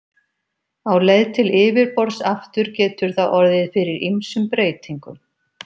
Á leið til yfirborðs aftur getur það orðið fyrir ýmsum breytingum.